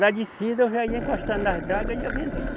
Na descida eu já ia encostando nas draga e ia vendendo.